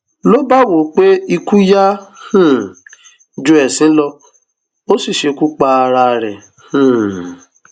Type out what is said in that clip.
ló bá wò ó pé ikú yá um ju ẹsín lọ ó sì ṣekú pa ara rẹ um